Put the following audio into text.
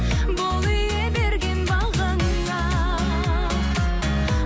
бол ие берген бағаңа